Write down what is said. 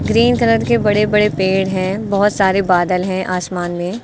green colour के बड़े बड़े पेड़ हैं बहोत सारे बादल हैं आसमान में--